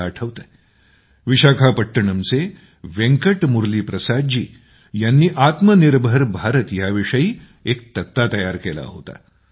मला आठवतं विशाखापट्टणमचे वेंकट मुरली प्रसाद जी यांनी आत्मनिर्भर भारत विषयी एक तक्ता तयार केला होता